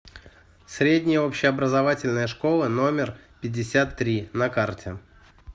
средняя общеобразовательная школа номер пятьдесят три на карте